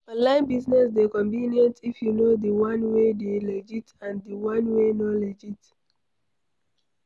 online business dey convenient if you know di one wey dey legit and di one wey no legit